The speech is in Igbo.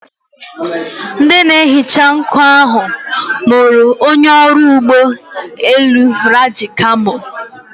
Ndị na-ehicha nkụ ahụ mụrụ onye ọrụ ụgbọ elu Raji's camo.